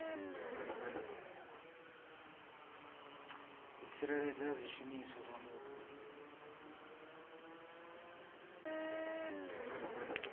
u tsireledza zwishumiswa zwa mupo